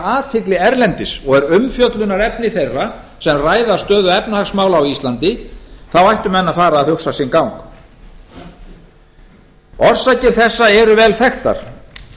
athygli erlendis og er umfjöllunarefni þeirra sem ræða stöðu efnahagsmála á íslandi þá ættu menn að fara að hugsa sinn gang orsakir þessa eru vel þekktar